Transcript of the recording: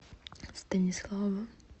станислава